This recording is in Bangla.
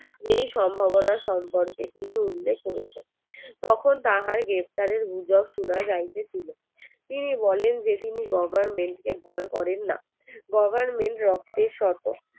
এই সম্ভাবনা সম্পর্কে তিনি উল্লেখ করেছেন তখন তাহার গ্রেফতারের গুজব সোনা যাইতেছিলো তিনি বলেন যে তিনি government কে ভয় করেন না government রক্তের শত